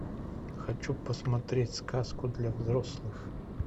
хочу посмотреть сказку для взрослых